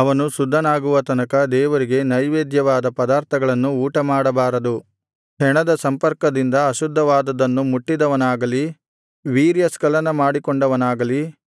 ಅವನು ಶುದ್ಧನಾಗುವ ತನಕ ದೇವರಿಗೆ ನೈವೇದ್ಯವಾದ ಪದಾರ್ಥಗಳನ್ನು ಊಟಮಾಡಬಾರದು ಹೆಣದ ಸಂಪರ್ಕದಿಂದ ಅಶುದ್ಧವಾದುದನ್ನು ಮುಟ್ಟಿದವನಾಗಲಿ ವೀರ್ಯಸ್ಖಲನ ಮಾಡಿಕೊಂಡವನಾಗಲಿ